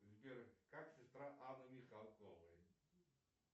сбер как сестра анны михалковой